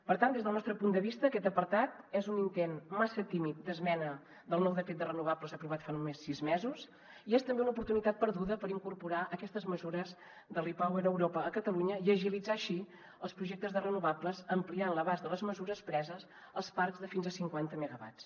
per tant des del nostre punt de vista aquest apartat és un intent massa tímid d’esmena del nou decret de renovables aprovat fa només sis mesos i és també una oportunitat perduda per incorporar aquestes mesures del repower europa a catalunya i agilitzar així els projectes de renovables ampliant l’abast de les mesures preses als parcs de fins a cinquanta megawatts